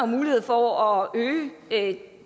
mulighed for at øge